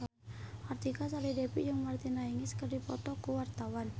Artika Sari Devi jeung Martina Hingis keur dipoto ku wartawan